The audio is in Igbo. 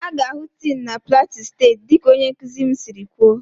A ga-ahụ tin na plateau steeti dịka onye nkuzi m siri kwuo